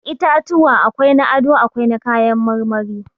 Itatuwa akwai na ado, akwai na kayan marmari.